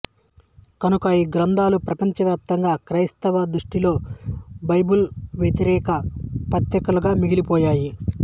కనుక ఈ గ్రంథాలు ప్రపంచవ్యాప్తంగా క్రైస్తవుల దృష్టిలో బైబిల్ వ్యతిరేక పత్రికలుగా మిగిలిపోయాయి